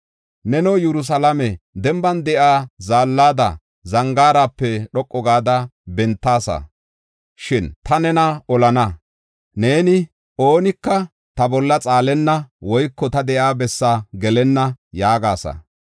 Neno, Yerusalaame, denban de7iya zaallada, zangaarape dhoqu gada bentaasa; shin ta nena olana. Neeni, “Oonika ta bolla xaalenna woyko ta de7iya bessaa gelenna” yaagasa.